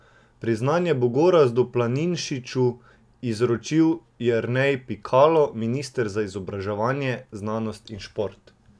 Priznanje bo Gorazdu Planinšiču izročil Jernej Pikalo, minister za izobraževanje, znanost in šport.